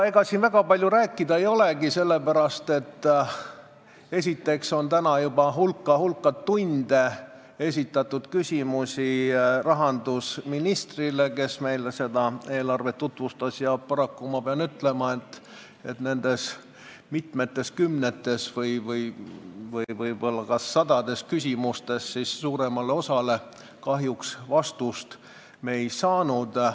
Ega siin väga palju rääkida ei olegi, sellepärast et esiteks on täna juba hulk-hulk tunde esitatud küsimusi rahandusministrile, kes meile seda eelarvet tutvustas, ja paraku ma pean ütlema, et kahjuks me suuremale osale nendest mitmekümnetest või võib-olla ka sadadest küsimustest vastust ei saanud.